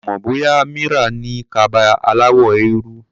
Mi ò mọ̀ bóyá Mira ní kaba aláwọ̀ eérú.